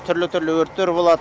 түрлі түрлі өрттер болады